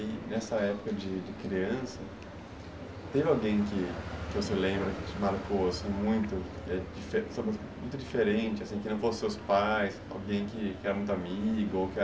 E nessa época de criança, teve alguém que você lembra, que te marcou assim, muito, muito diferente, que não fosse seus pais, alguém que era muito amigo,